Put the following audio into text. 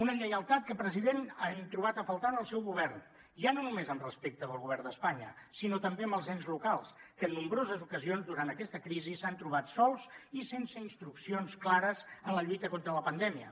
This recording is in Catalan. una lleialtat que president hem trobat a faltar en el seu govern ja no només respecte del govern d’espanya sinó també dels ens locals que en nombroses ocasions durant aquesta crisi s’han trobat sols i sense instruccions clares en la lluita contra la pandèmia